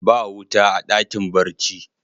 Ba wuta a dakin barci.